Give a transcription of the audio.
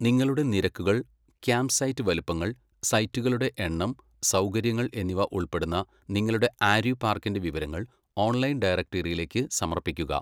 നിങ്ങളുടെ നിരക്കുകൾ, ക്യാമ്പ്സൈറ്റ് വലുപ്പങ്ങൾ, സൈറ്റുകളുടെ എണ്ണം, സൗകര്യങ്ങൾ എന്നിവ ഉൾപ്പെടുന്ന നിങ്ങളുടെ ആര്വി പാർക്കിന്റെ വിവരങ്ങൾ ഓൺലൈൻ ഡയറക്ടറിയിലേക്ക് സമർപ്പിക്കുക.